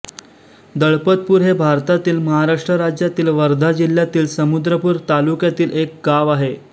दळपतपूर हे भारतातील महाराष्ट्र राज्यातील वर्धा जिल्ह्यातील समुद्रपूर तालुक्यातील एक गाव आहे